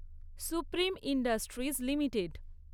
supreme Industries limited